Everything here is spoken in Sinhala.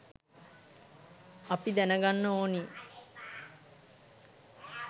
අපි දැනගන්න ඕනි